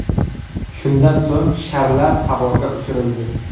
Shundan so‘ng sharlar havoga uchirildi.